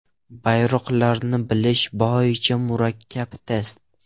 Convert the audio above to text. Bayroqlarni bilish bo‘yicha murakkab test.